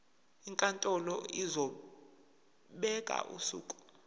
inkantolo izobeka usuku